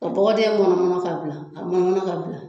Ka bɔgɔ dingɛ mɔnɔmɔnɔ ka bila ka mɔnɔmɔnɔ ka bila